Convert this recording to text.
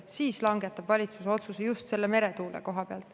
Siis langetab valitsus otsuse just selle meretuule koha pealt.